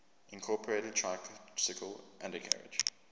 incorporated tricycle undercarriage